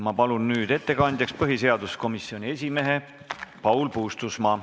Ma palun nüüd ettekandjaks põhiseaduskomisjoni esimehe Paul Puustusmaa.